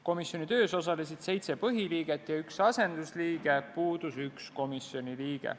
Komisjoni töös osalesid seitse põhiliiget ja üks asendusliige, puudus üks komisjoni liige.